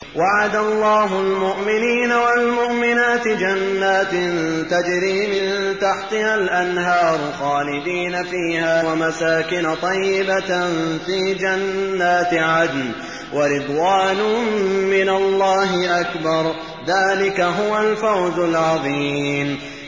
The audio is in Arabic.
وَعَدَ اللَّهُ الْمُؤْمِنِينَ وَالْمُؤْمِنَاتِ جَنَّاتٍ تَجْرِي مِن تَحْتِهَا الْأَنْهَارُ خَالِدِينَ فِيهَا وَمَسَاكِنَ طَيِّبَةً فِي جَنَّاتِ عَدْنٍ ۚ وَرِضْوَانٌ مِّنَ اللَّهِ أَكْبَرُ ۚ ذَٰلِكَ هُوَ الْفَوْزُ الْعَظِيمُ